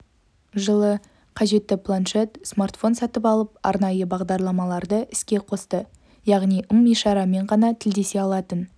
жылы қажетті планшет смартфон сатып алып арнайы бағдарламаларды іске қосты яғни ым-ишарамен ғана тілдесе алатын